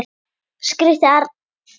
skríkti Arndís.